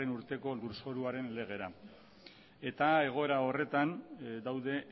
urteko lurzoruaren legera egoera horretan daude